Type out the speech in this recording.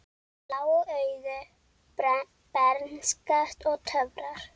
Blá augu, bernska og töfrar